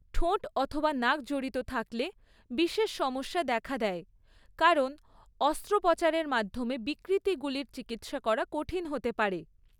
ঠোঁট অথবা নাক জড়িত থাকলে বিশেষ সমস্যা দেখা দেয়, কারণ অস্ত্রোপচারের মাধ্যমে বিকৃতিগুলির চিকিৎসা করা কঠিন হতে পারে।